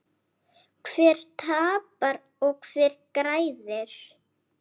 Hver tapar og hver græðir?